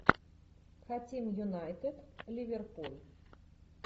хотим юнайтед ливерпуль